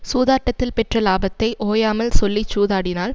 சூதாட்டத்தில் பெற்ற லாபத்தை ஓயாமல் சொல்லி சூதாடினால்